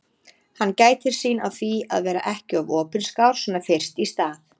Hann gætir sín á því að vera ekki of opinskár svona fyrst í stað.